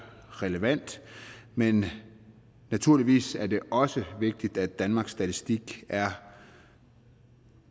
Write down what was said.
relevant men naturligvis er det også vigtigt at danmarks statistik er